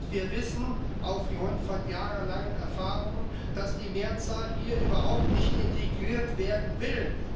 Wir wissen aufgrund von jahrelangen Erfahrungen, dass die Mehrzahl hier überhaupt nicht integriert werden will.